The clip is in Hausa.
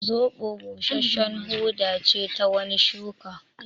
Zoɓo busashshen huda ce ta wani shuka